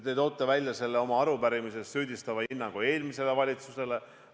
Te toote oma arupärimises välja süüdistava hinnangu eelmisele valitsusele.